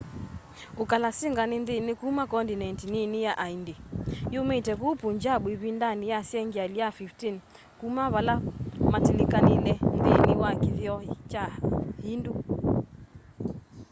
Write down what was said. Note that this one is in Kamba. ukalasinga ni ndini kuma condineti nini ya aindi yumite kuu punjab ivindani ya sengyali ya 15 kuma vala matilikanile nthini wa kithio kya hindu